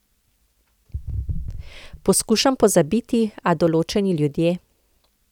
Poskušam pozabiti, a določeni ljudje ...